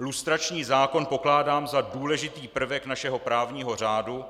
Lustrační zákon pokládám za důležitý prvek našeho právního řádu,